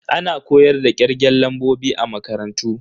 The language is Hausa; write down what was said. Ana koyar da kirgen lambobi a makarantu.